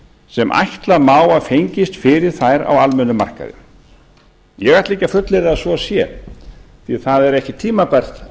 sem ætla má að fengist fyrir þær á almennum markaði ég ætla ekki að fullyrða að svo sé því það er ekki tímabært